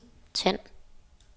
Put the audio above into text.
tænd